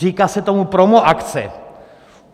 Říká se tomu promoakce.